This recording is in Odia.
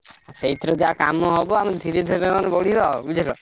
ସେଇଥିରୁ ଯାହା କାମ ହବ। ଆମେ ଧୀରେ ଧୀରେ ନହେଲେ ଗଢିବା ବୁଝିଲ।